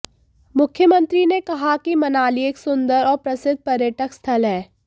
मुख्यमंत्री ने कहा कि मनाली एक सुंदर और प्रसिद्ध पर्यटक स्थल है